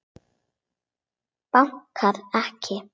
Bankar ekki.